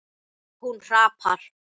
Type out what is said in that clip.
Hún hrapar.